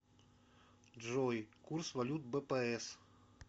джой курс валют бпс